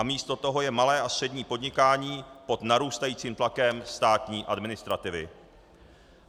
A místo toho je malé a střední podnikání pod narůstajícím tlakem státní administrativy.